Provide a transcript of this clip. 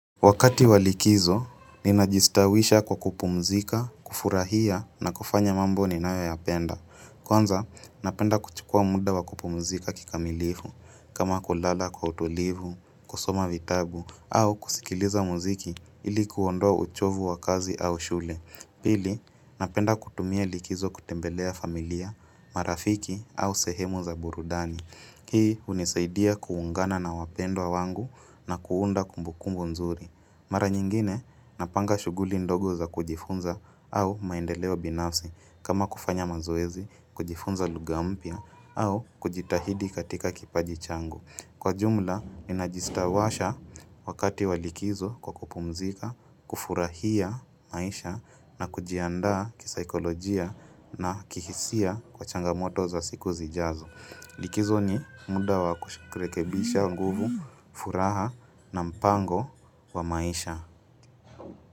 Wakati wa likizo, ninajistawisha kwa kupumzika, kufurahia na kufanya mambo ninayoyapenda. Kwanza, napenda kuchukua muda wa kupumzika kikamilifu, kama kulala kwa utulivu, kusoma vitabu, au kusikiliza muziki ili kuondoa uchovu wa kazi au shule. Pili, napenda kutumia likizo kutembelea familia, marafiki au sehemu za burudani. Hii hunisaidia kuungana na wapendwa wangu na kuunda kumbukumbu nzuri. Mara nyingine napanga shughuli ndogo za kujifunza au maendeleo binafsi kama kufanya mazoezi, kujifunza lugha mpya au kujitahidi katika kipaji changu. Kwa jumla, ninajistawasha wakati wa likizo kwa kupumzika, kufurahia maisha na kujiandaa kisaikolojia na kihisia kwa changamoto za siku zijazo. Likizo ni muda wa kurekebisha nguvu, furaha na mpango wa maisha.